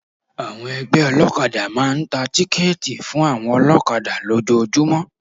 Àwọn ẹgbẹ́ olọ́kadà máa ń tà tíkẹ́tì fún àwọn olọ́kadà lójọọjúmọ́.